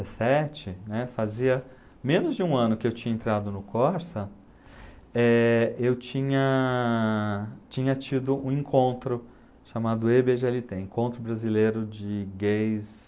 e sete, né, fazia menos de um ano que eu tinha entrado no Corsa, eh, eu tinha tinha tido um encontro chamado ê bê gê ele tem, Encontro Brasileiro de Gays...